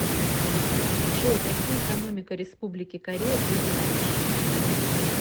джой какие экономика республики корея ты знаешь